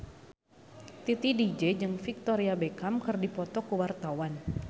Titi DJ jeung Victoria Beckham keur dipoto ku wartawan